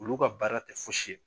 Olu ka baara tɛ fosi ye.